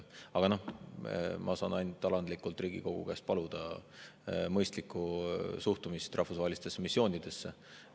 Aga ma saan ainult alandlikult Riigikogu käest paluda mõistlikku suhtumist rahvusvahelistesse missioonidesse.